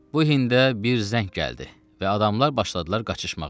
Bu hində bir zəng gəldi və adamlar başladılar qaçışmağa.